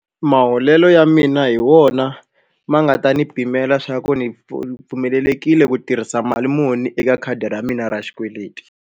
Maholelo ya mina hi wona ma nga ta ni pimela swa ku ni ni pfumelelekile ku tirhisa mali muni eka khadi ra mina ra xikweleti.